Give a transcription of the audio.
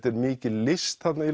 er mikil list þarna